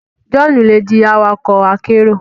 Johnu le di awakọ akero